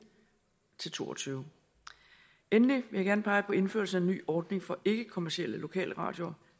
til to og tyve endelig vil jeg gerne pege på indførelsen ny ordning for ikkekommercielle lokalradioer